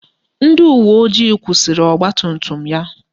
Ndị uweojii kwụsịrị ọgbatumtum ya